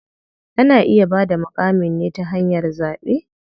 Ana iya bada muƙamin ne ta hanyar zaɓe.